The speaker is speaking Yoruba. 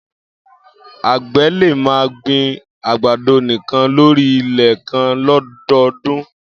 Ágbẹ̀ lé mà gbin àgbàdó nikàn lóri ilẹ̀ kàn lọ̀dọdún